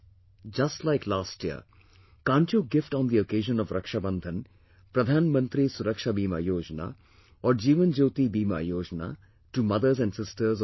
Just like last year, can't you gift on the occasion of Raksha Bandhan Pradhan Mantri Suraksha Bima Yojna or Jeevan Jyoti Bima Yojna to mothers and sisters of our country